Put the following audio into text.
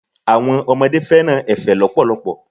Àwọn ọmọdé fẹ́ràn efe lọpọlọpọ.